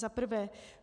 Za prvé: